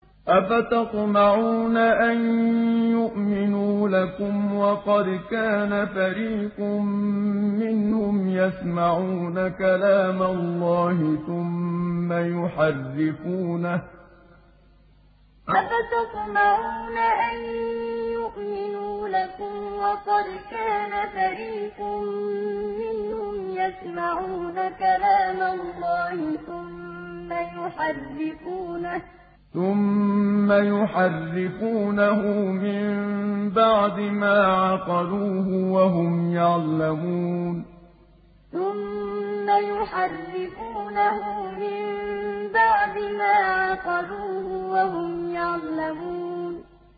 ۞ أَفَتَطْمَعُونَ أَن يُؤْمِنُوا لَكُمْ وَقَدْ كَانَ فَرِيقٌ مِّنْهُمْ يَسْمَعُونَ كَلَامَ اللَّهِ ثُمَّ يُحَرِّفُونَهُ مِن بَعْدِ مَا عَقَلُوهُ وَهُمْ يَعْلَمُونَ ۞ أَفَتَطْمَعُونَ أَن يُؤْمِنُوا لَكُمْ وَقَدْ كَانَ فَرِيقٌ مِّنْهُمْ يَسْمَعُونَ كَلَامَ اللَّهِ ثُمَّ يُحَرِّفُونَهُ مِن بَعْدِ مَا عَقَلُوهُ وَهُمْ يَعْلَمُونَ